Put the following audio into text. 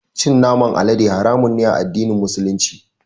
Cin naman alade haramun ne a addinin Musulunci.